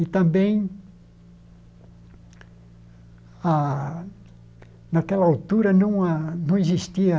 E também a naquela altura não existia